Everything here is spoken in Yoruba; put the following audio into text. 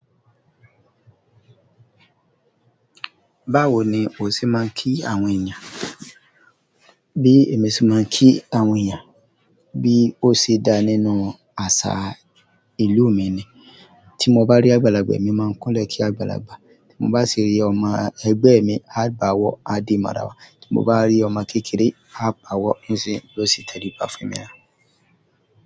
Báwo ni o ṣe máa ń kí àwọn èèyàn? Bí èmi ṣe máa ń kí àwọn èèyàn bí ó ṣe da nínú àṣà ìlú mi ni tí mo bá rí àgbàlagbà mi máa ń kúnlẹ̀ kí àgbàlagbà, tí mo bá rí ọmọ ẹgbẹ́ mi a báwo aadi marawa, tí mo bá rí ọmọ kékeré a báwo yosi tàlíbà fún mi ni.